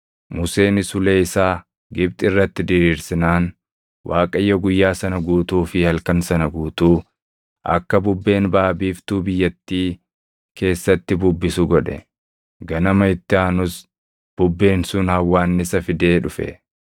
Museenis ulee isaa Gibxi irratti diriirsinaan Waaqayyo guyyaa sana guutuu fi halkan sana guutuu akka bubbeen baʼa biiftuu biyyattii keessatti bubbisu godhe; ganama itti aanus bubbeen sun hawwaannisa fidee dhufe;